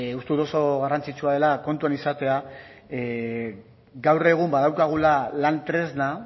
uste dut oso garrantzitsua dela kontuan izatea gaur egun badaukagula lan tresna